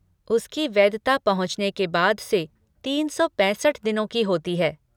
उसकी वैधता पहुँचने के बाद से तीन सौ पैंसठ दिनों की होती है।